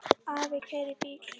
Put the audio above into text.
Afi keyrir bílinn.